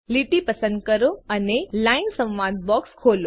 લીટી પસંદ કરો અને લાઇન સંવાદ બોક્સ ખોલો